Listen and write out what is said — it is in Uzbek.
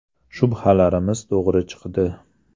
Shubhalarimiz to‘g‘ri chiqdi.